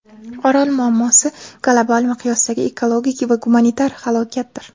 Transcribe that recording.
Orol muammosi global miqyosdagi ekologik va gumanitar halokatdir.